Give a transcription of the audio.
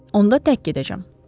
Onda tək gedəcəm.